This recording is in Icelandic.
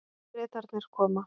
Bretarnir koma.